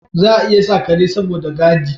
Za a iya sa Kare saboda gadi